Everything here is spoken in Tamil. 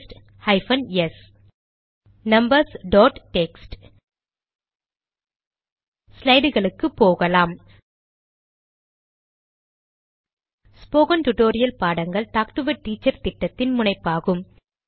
paste hyphen S numbers dot text ஸ்லைடுகளுக்கு போகலாம் ஸ்போகன் டுடோரியல் பாடங்கள் டாக்டு எ டீச்சர் திட்டத்தின் முனைப்பாகும்